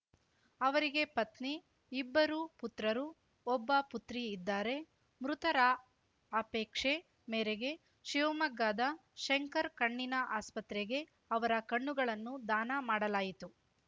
ಅವರಿಗೆ ಪತ್ನಿ ಇಬ್ಬರು ಪುತ್ರರು ಒಬ್ಬ ಪುತ್ರಿ ಇದ್ದಾರೆ ಮೃತರ ಅಪೇಕ್ಷೆ ಮೇರೆಗೆ ಶಿವಮೊಗ್ಗದ ಶಂಕರ್ ಕಣ್ಣಿನ ಆಸ್ಪತ್ರೆಗೆ ಅವರ ಕಣ್ಣುಗಳನ್ನು ದಾನ ಮಾಡಲಾಯಿತು